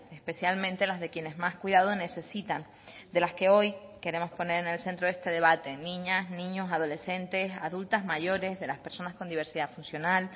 especialmente las de quienes más cuidado necesitan de las que hoy queremos poner en el centro de este debate niñas niños adolescentes adultas mayores de las personas con diversidad funcional